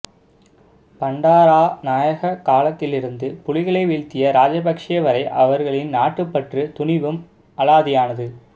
பண்டாராநாயக காலத்திலிருந்து புலிகளை வீழ்த்திய ராஜபக்சே வரை அவர்களின் நாட்டுபற்று துணிவும் அலாதியானது